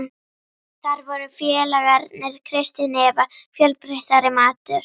Þar voru félagarnir, Kristín Eva, fjölbreyttari matur.